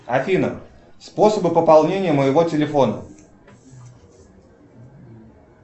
афина способы пополнения моего телефона